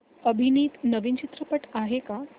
अभिनीत नवीन चित्रपट आहे का